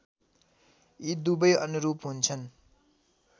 यि दुबै अनुरूप हुन्छन्